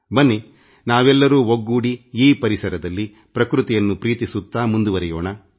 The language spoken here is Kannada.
ಬನ್ನಿ ನಾವೆಲ್ಲರೂ ಒಗ್ಗೂಡಿ ಈ ಪರಿಸರದಲ್ಲಿ ಪ್ರಕೃತಿಯನ್ನು ಪ್ರೀತಿಸುತ್ತಾ ಮುಂದಡಿ ಇಡೋಣ